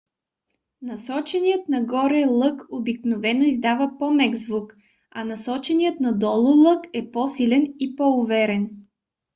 насоченият нагоре лък обикновено издава по-мек звук a насоченият надолу лък е по-силен и по-уверен